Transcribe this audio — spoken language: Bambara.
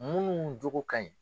Mun jogo ka ɲi.